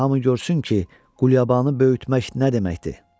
Qoy hamı görsün ki, Qulyabanı böyütmək nə deməkdir!